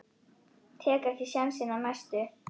Tek ekki sénsinn á næstu.